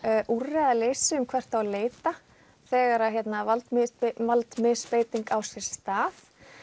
úrræðaleysi um hvert eigi að leita þegar valdmisbeiting valdmisbeiting á sér stað